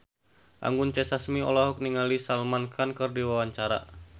Anggun C. Sasmi olohok ningali Salman Khan keur diwawancara